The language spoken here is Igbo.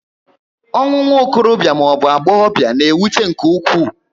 Ọnwụ nwokorobia maọbu agbọghobia na-ewute nke ụkwụ